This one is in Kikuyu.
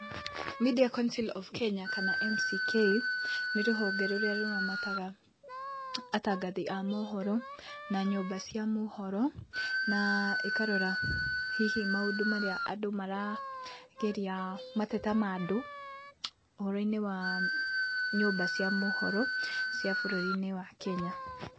Media Council of Kenya kana MCK, nĩ rũhonge rũrĩa rũramataga atangathi a mohoro na nyũmba cia mohoro, na ĩkarora hihi maũndũ marĩa andũ marageria mateta ma andũ ũhoro-inĩ wa nyũmba cia mohoro cia bũrũri-inĩ wa Kenya.